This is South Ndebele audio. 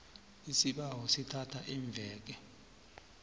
isibawo sithatha iimveke